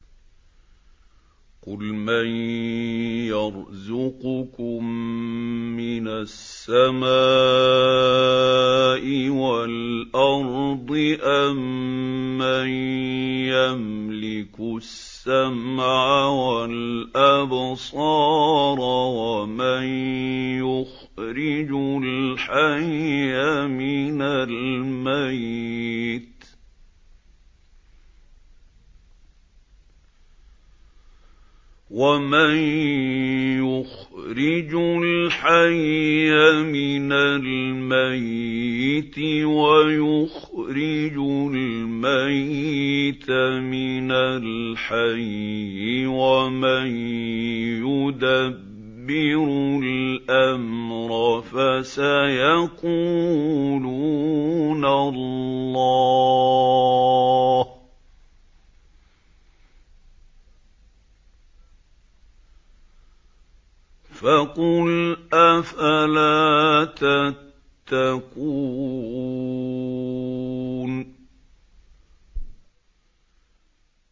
قُلْ مَن يَرْزُقُكُم مِّنَ السَّمَاءِ وَالْأَرْضِ أَمَّن يَمْلِكُ السَّمْعَ وَالْأَبْصَارَ وَمَن يُخْرِجُ الْحَيَّ مِنَ الْمَيِّتِ وَيُخْرِجُ الْمَيِّتَ مِنَ الْحَيِّ وَمَن يُدَبِّرُ الْأَمْرَ ۚ فَسَيَقُولُونَ اللَّهُ ۚ فَقُلْ أَفَلَا تَتَّقُونَ